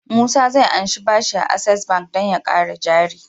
Musa zai anshi bashi a access bank dan ya kara jari